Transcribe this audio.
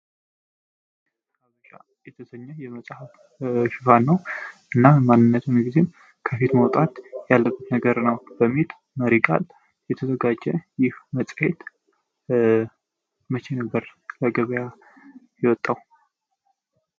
"ሐበሻ" የተሰኘ የመፀሐ ሽፋ ነው። እናም ማንነቱን ጊዜም ከፊት ማውጣት ያለበት ነገር ነው፤ በሚል መሪ ቃል የተዘጋጀ ይፍ መፀሄት መቼ ነበር ለገበያ የወጣው?